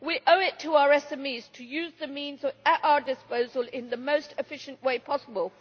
We owe it to our SMEs to use the means at our disposal in the most efficient way possible.